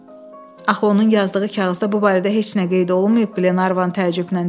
Axı onun yazdığı kağızda bu barədə heç nə qeyd olunmayıb, Qlenarvan təəccüblə dedi.